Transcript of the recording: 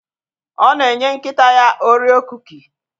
Ọ na enye nkịta ya orio kuki